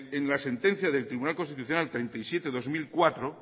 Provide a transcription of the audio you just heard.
en la sentencia del tribunal constitucional treinta y siete barra dos mil cuatro